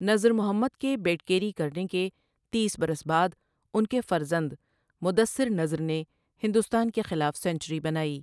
نذر محمد کے bat carry کرنے کے تیس برس بعد ان کے فرزند مدثر نذر نے ہندوستان کے خلاف سنچری بنائی ۔